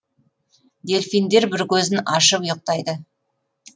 дельфиндер бір көзін ашып ұйықтайды